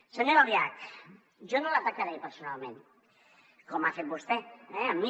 senyora albiach jo no l’atacaré personalment com ha fet vostè eh amb mi